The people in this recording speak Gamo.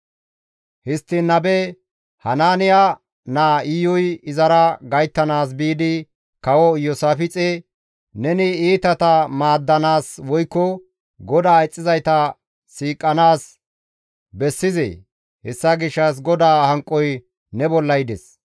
Histtiin nabe Hanaaniya naa Iyuy izara gayttanaas biidi Kawo Iyoosaafixe, «Neni iitata maaddanaas woykko GODAA ixxizayta siiqanaas bessizee? Hessa gishshas GODAA hanqoy ne bolla yides.